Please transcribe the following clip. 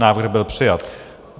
Návrh byl přijat.